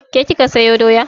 Ke kika sayo doya?